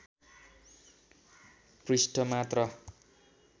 पृष्ठ मात्र